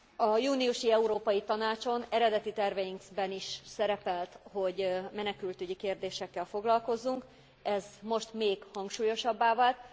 A júniusi Európai Tanácson eredeti terveinkben is szerepelt, hogy menekültügyi kérdésekkel foglalkozzunk, ez most még hangsúlyosabbá vált.